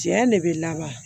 Diɲɛ de bɛ laban